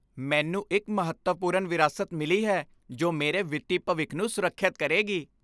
ਮੈਨੂੰ ਇੱਕ ਮਹੱਤਵਪੂਰਨ ਵਿਰਾਸਤ ਮਿਲੀ ਹੈ ਜੋ ਮੇਰੇ ਵਿੱਤੀ ਭਵਿੱਖ ਨੂੰ ਸੁਰੱਖਿਅਤ ਕਰੇਗੀ।